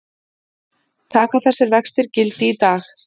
Taka þessir vextir gildi í dag